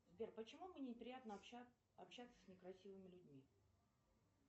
сбер почему мне неприятно общаться с некрасивыми людьми